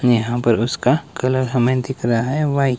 यहां पर उसका कलर हमें दिख रहा है व्हाइ--